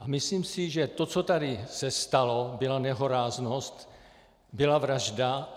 A myslím si, že to, co tady se stalo, byla nehoráznost, byla vražda.